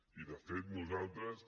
i de fet nosaltres